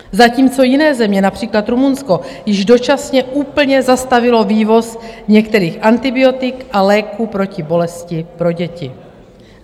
Zatímco jiné země, například Rumunsko, již dočasně úplně zastavily vývoz některých antibiotik a léků proti bolesti pro děti.